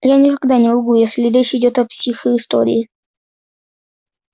я никогда не лгу если речь идёт о психоистории